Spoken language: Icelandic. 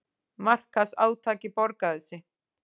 Markaðsátakið borgaði sig